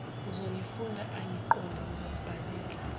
uzongifunda angiqonde ngizombhalela